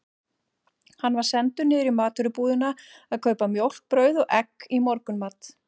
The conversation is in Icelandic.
Hann var sendur niður í matvörubúðina að kaupa mjólk, brauð og egg í morgunmatinn.